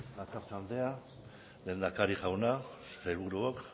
bakartxo andrea lehendakari jauna sailburuok